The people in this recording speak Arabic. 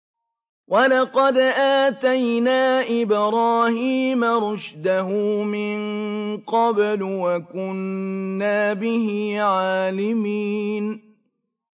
۞ وَلَقَدْ آتَيْنَا إِبْرَاهِيمَ رُشْدَهُ مِن قَبْلُ وَكُنَّا بِهِ عَالِمِينَ